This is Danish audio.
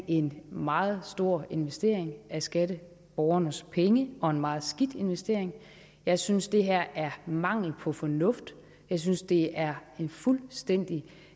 en meget stor investering af skatteborgernes penge og en meget skidt investering jeg synes at det her er mangel på fornuft jeg synes at det er en fuldstændig